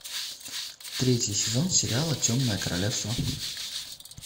третий сезон сериала темное королевство